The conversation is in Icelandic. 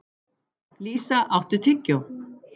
Lísa, áttu tyggjó?